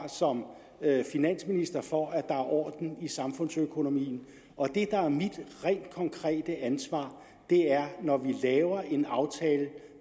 som finansminister for at der er orden i samfundsøkonomien og det der er mit rent konkrete ansvar er at når vi laver en aftale